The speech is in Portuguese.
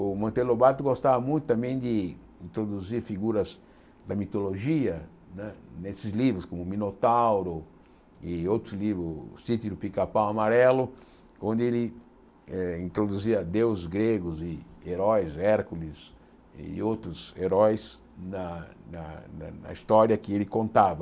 O Manteiro Lobato gostava muito também de introduzir figuras da mitologia nesses livros, como Minotauro e outros livros, Sítio do Picapau e Amarelo, onde ele eh introduzia deuses gregos e heróis, Hércules e outros heróis na na na história que ele contava.